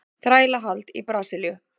Þrælahald í Brasilíu.